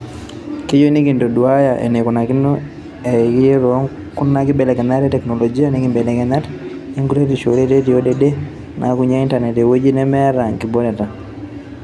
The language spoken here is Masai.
Keyieu nekintoduaaya eneikunakino irekiyie tookuna kibelekenyat e teknoloji, nkibelekenyat enkuretisho, oreteni o dede naakunyia intanet eweji nemeeta nkibooreta."